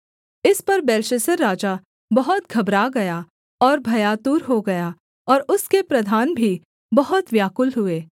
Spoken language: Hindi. इस पर बेलशस्सर राजा बहुत घबरा गया और भयातुर हो गया और उसके प्रधान भी बहुत व्याकुल हुए